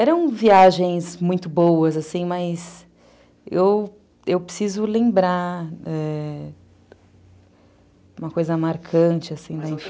Eram viagens muito boas, assim, mas eu preciso lembrar uma coisa marcante, assim, da infância.